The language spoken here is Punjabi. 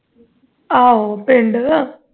ਆਹੋ ਪਿੰਡ